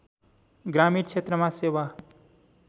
ग्रामीण क्षेत्रमा सेवा